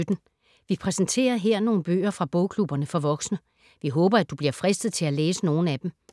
Vi præsenterer her nogle bøger fra bogklubberne for voksne. Vi håber, at du bliver fristet til at læse nogle af dem.